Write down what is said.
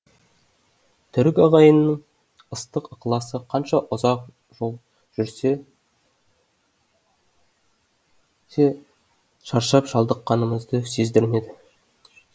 түрік ағайынның ыстық ықыласы қанша ұзақ жол шаршап шалдыққанымызды сездірмеді